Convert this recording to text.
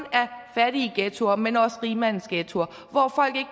fattige ghettoer men også rigmandsghettoer